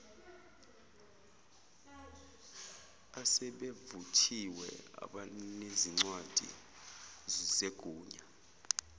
asebevuthiwe abanezincwadi zegunya